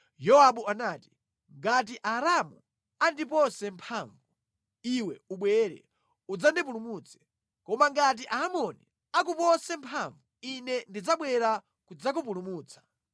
Yowabu anati, “Ngati Aaramu andipose mphamvu, iwe ubwere udzandipulumutse; koma ngati Aamoni akupose mphamvu, ine ndidzabwera kudzakupulumutsa.